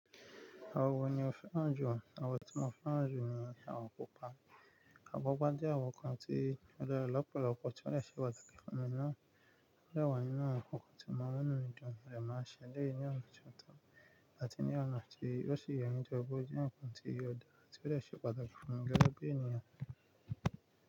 Àwọn wo ni ó fẹ́ràn ju? Àwọn tí mo fẹ́ràn ju ni àwọn pupa. Omo pupá jẹ́ àwọn nkan tí ó dára lọ́pọ̀lọpọ̀ tí ó lè ṣe pàtàkì fún mi náà. O de wà ninu awon ǹkan tí o maa n mu inu mi dùn, mo de máa ń ṣe eleyi ní ọ̀nà ti ó tọ́ àti ní ọ̀nà tí o si ye tori pe oje nkan tí ò dára ti ó de ṣe pàtàkì fún mi gẹ́gẹ́ bí ènìyàn.